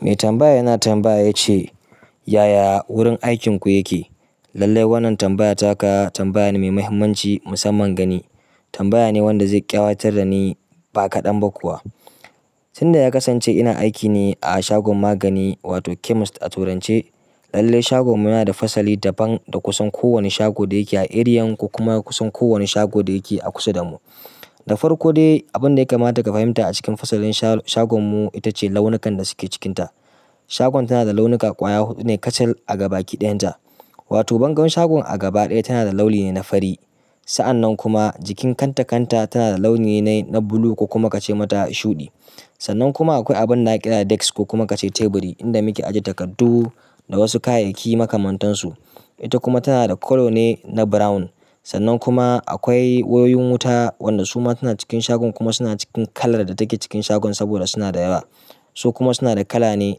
Mai tambaya yana tambaya ya ce, "Yaya wurin aikinku yake?" Lallai wannan tambaya taka tambaya ne mai mahimmanci musamman gani. Tambaya ne wanda zai ƙawatar da ni ba kaɗan ba kuwa. Tun da ya kasance ina aiki ne a shagon magani wato chemist a turance. Lallai shagon mu yana da fasali daban da kusan kowane shago da yake a area ko kuma kusan kowane shago da yake a kusa da mu. Da farko dai, abin da ya kamata ka fahimta a cikin fasalin sha-shagon mu ita ce launukan da suke cikinta. Shagon tana da launuka ƙwaya huɗu ne kacal a gaba kiɗayan ta. Wato bangon shagon a gaba ɗaya tana da launi ne na fari. Sa'an nan kuma jikin kanta kanta tana da launi ne na bulu ko kuma ka ce mata shuɗi. Sannan kuma akwai abin naƙida da desk ko kuma ka ce teburi inda muke ajiye takardu da wasu kayayyaki makamantansu. Ita kuma tana da colour ne na brown. Sannan kuma akwai wayoyin wuta wanda su ma suna cikin shagon kuma suna cikin kalar da take cikin shagon saboda suna da yawa. Su kuma suna da kala ne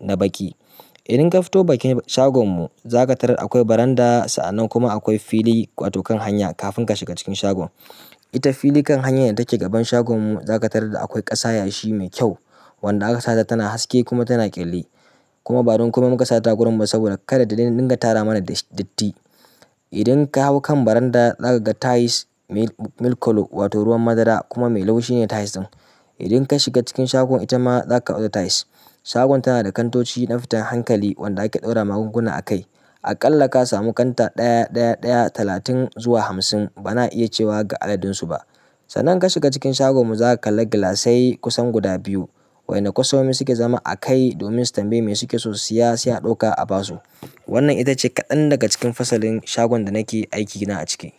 na baƙi. Idan ka fito bakin shagon mu, za ka tarar akwai baranda sa'an nan kuma akwai fili wato kan hanya kafin ka shiga cikin shagon. Ita fili kan hanyar da take gaban shagon mu, za ka tarar da akwai ƙasa yashi mai kyau wanda aka sata tana haske kuma tana ƙyalli. Kuma ba don kuma mun kashe ta gurin ba saboda kada ta dinga tara mana datti. Idan ka hau kan baranda, za ka ga tiles milk colour wato ruwan madara kuma mai laushi ne tiles ɗin. Idan ka shiga cikin shagon, ita ma za ka ga wata tiles. Shagon tana da kantoci na fitar hankali wanda ake ɗaura magunguna a kai. Aƙalla ka samu kanta ɗaya, ɗaya, ɗaya talatin zuwa hamsin. Bana iya cewa ga adadin su ba. Sannan in ka shiga cikin shagon mu, za ka kalla gilasai kusan guda biyu. Wa'ƴanda kwastomomi suke zama a kai domin su tambayi mai suke so su siya, sai a ɗauka a ba su. Wannan ita ce kaɗan daga cikin fasalin shagon da nake aiki na a ciki.